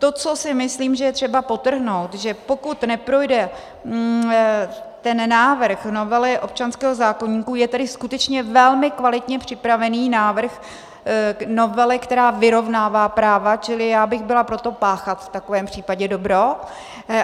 To, co si myslím, že je třeba podtrhnout, že pokud neprojde ten návrh novely občanského zákoníku, je tedy skutečně velmi kvalitně připravený návrh novely, která vyrovnává práva, čili já bych byla pro to páchat v takovém případě dobro.